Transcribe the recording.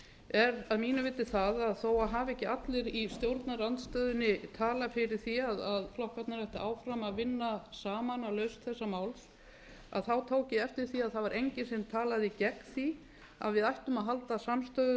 er að mínu viti það að þó hafi ekki allir í stjórnarandstöðunni talað fyrir því að flokkarnir ættu áfram að vinna saman að lausn þessa máls tók ég eftir því að það var enginn sem talaði gegn því að við ættum að halda